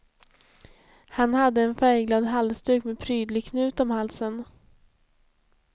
Han hade en färgglad halsduk med prydlig knut om halsen.